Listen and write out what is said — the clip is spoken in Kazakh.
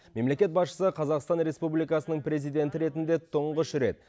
мемлекет басшысы қазақстан республикасының президенті ретінде тұңғыш рет